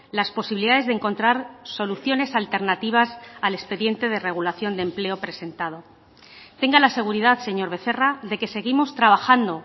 las posibilidades de encontrar soluciones alternativas al expediente de regulación de empleo presentado tenga la seguridad señor becerra de que seguimos trabajando